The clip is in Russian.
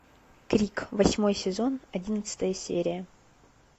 крик восьмой сезон одиннадцатая серия